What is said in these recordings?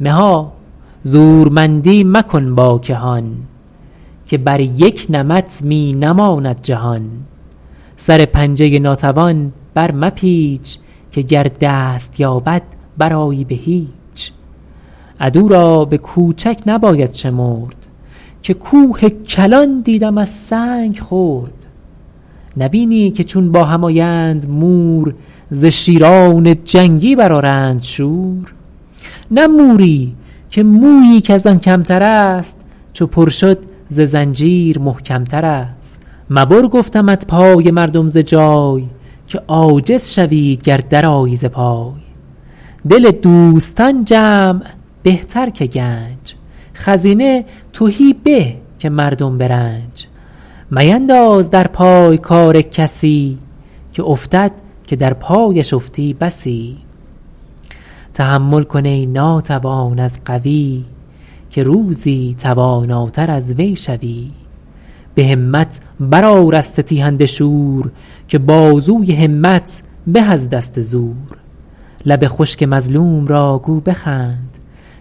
مها زورمندی مکن با کهان که بر یک نمط می نماند جهان سر پنجه ناتوان بر مپیچ که گر دست یابد برآیی به هیچ عدو را به کوچک نباید شمرد که کوه کلان دیدم از سنگ خرد نبینی که چون با هم آیند مور ز شیران جنگی برآرند شور نه موری که مویی کز آن کمتر است چو پر شد ز زنجیر محکمتر است مبر گفتمت پای مردم ز جای که عاجز شوی گر درآیی ز پای دل دوستان جمع بهتر که گنج خزینه تهی به که مردم به رنج مینداز در پای کار کسی که افتد که در پایش افتی بسی تحمل کن ای ناتوان از قوی که روزی تواناتر از وی شوی به همت برآر از ستیهنده شور که بازوی همت به از دست زور لب خشک مظلوم را گو بخند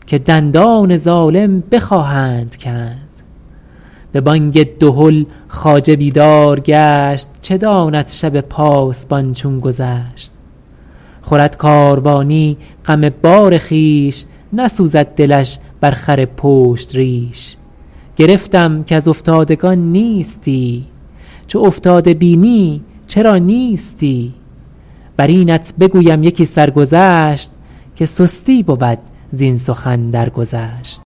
که دندان ظالم بخواهند کند به بانگ دهل خواجه بیدار گشت چه داند شب پاسبان چون گذشت خورد کاروانی غم بار خویش نسوزد دلش بر خر پشت ریش گرفتم کز افتادگان نیستی چو افتاده بینی چرا نیستی بر اینت بگویم یکی سرگذشت که سستی بود زین سخن درگذشت